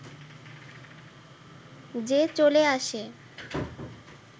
যে চলে আসে